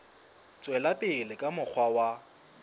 tswela pele ka mokgwa wa